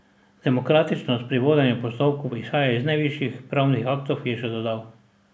Demokratičnost pri vodenju postopkov izhaja iz najvišjih pravnih aktov, je še dodal.